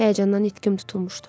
Həyəcandan nitqim tutulmuşdu.